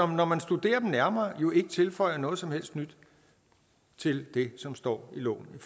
man når man studerer dem nærmere jo ikke tilføjer noget som helst nyt til det som står i loven i